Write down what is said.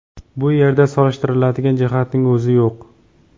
Bu yerda solishtiradigan jihatning o‘zi yo‘q”.